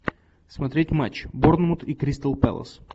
смотреть матч борнмут и кристал пэлас